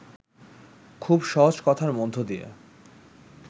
খুব সহজ কথার মধ্য দিয়ে